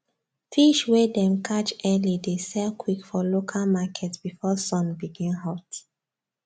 fish wey dem catch early dey sell quick for local market before sun begin hot